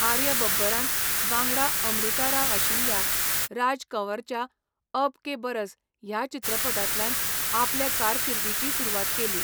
आर्य बब्बरान, वांगडा अमृता राव आशिल्ल्या, राज कंवराच्या 'अब के बरस' ह्या चित्रपटांतल्यान आपले कारकिर्दीची सुरवात केली.